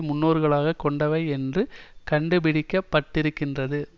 முன்னோர்களாகக் கொண்டவை என்று கண்டுபிடிக்க பட்டிருக்கின்றது